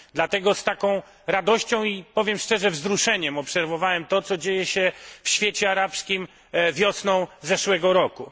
Dlatego z taką radością i powiem szczerze wzruszeniem obserwowałem to, co działo się w świecie arabskim wiosną zeszłego roku.